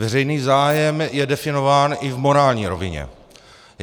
Veřejný zájem je definován i v morální rovině.